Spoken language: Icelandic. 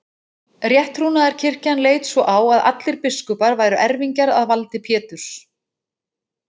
Rétttrúnaðarkirkjan leit svo á að allir biskupar væru erfingjar að valdi Péturs.